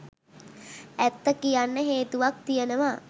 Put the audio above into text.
ඇත්ත කියන්න හේතුවක් තියෙනවා.